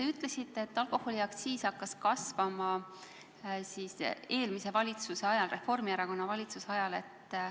Te ütlesite, et alkoholiaktsiis hakkas kasvama eelmise valitsuse ajal, Reformierakonna valitsuse ajal.